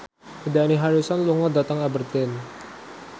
Dani Harrison lunga dhateng Aberdeen